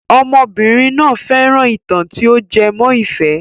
Ọmọbìnrin náà fẹ́ràn ìtàn tí o jẹ mọ́ ìfẹ́.